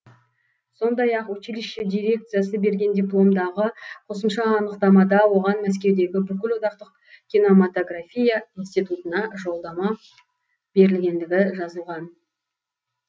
сондай ақ училище дирекциясы берген дипломдағы қосымша анықтамада оған мәскеудегі бүкілодақтың кинематография институтына жолдама берілгендігі жазылған